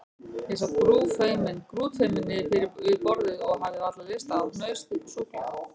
Ég sat grútfeiminn við borðið og hafði varla lyst á hnausþykku súkkulaði.